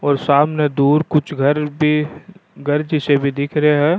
और सामने दूर कुछ घर भी जिसे भी दिख रो है।